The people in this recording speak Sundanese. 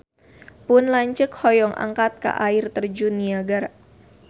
Pun lanceuk hoyong angkat ka Air Terjun Niagara